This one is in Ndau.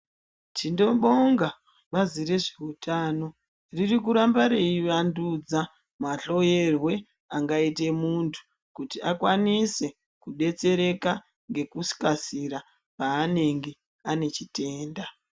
Tinobonga bazi rezveutano ririkuramba revandudza mahloyerwe angaite muntu kuti akwanise kudetsereka ngekukasira paanenge anechitenda.